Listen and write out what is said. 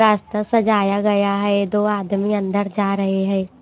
रास्ता सजाया गया है दो आदमी अंदर जा रहे हैं।